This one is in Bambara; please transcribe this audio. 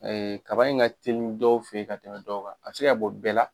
Kaba in ka teli dɔw fɛ yen ka tɛmɛ dɔw kan a bɛ se ka bɔ bɛɛ la,